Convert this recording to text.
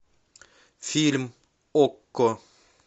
фильм окко